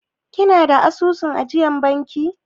Kina da asusun ajiyar banki?